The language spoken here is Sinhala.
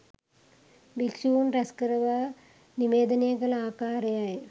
භික්‍ෂූන් රැස්කරවා නිවේදනය කළ ආකාරයයි